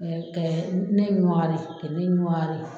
kɛ ne ɲɔwari ka ne ɲɔwari